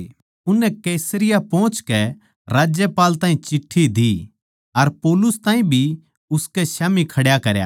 उननै कैसरिया पोहचकै राज्यपाल ताहीं चिट्ठी दी अर पौलुस ताहीं भी उसकै स्याम्ही खड्या करया